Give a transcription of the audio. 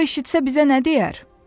O eşitsə bizə nə deyər?